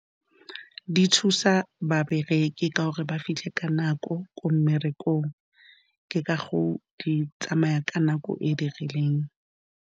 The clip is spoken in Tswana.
Di thusa babereki ka gore ba fitlhe ka nako ko mmerekong, ke ka gore di tsamaya ka nako e dirileng.